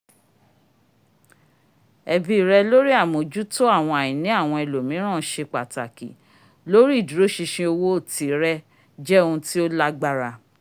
ẹbi rẹ lori amojuto àwọn àìní awọn ẹlòmíràn ṣe pàtàkì lórí ìdúróṣinṣin owó tìrẹ jẹ́ ohùn tí o lágbára